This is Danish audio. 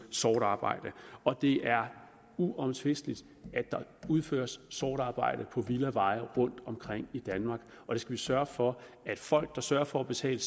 sort arbejde det er uomtvisteligt at der udføres sort arbejde på villaveje rundtomkring i danmark vi skal sørge for at folk der sørger for at betale